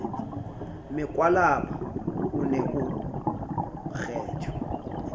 mekwalaba o ne o kgethwe